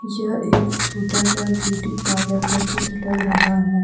यह एक छोटा सा ब्यूटी पार्लर का चित्र लग रहा है।